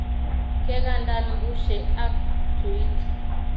Kekandan bushe ak tuit